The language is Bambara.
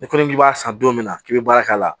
N'i ko k'i b'a san don min na k'i bɛ baara k'a la